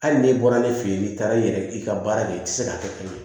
Hali n'e bɔra ne fɛ yen n'i taara i yɛrɛ i ka baara kɛ i tɛ se k'a kɛ bilen